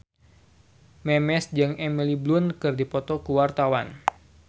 Memes jeung Emily Blunt keur dipoto ku wartawan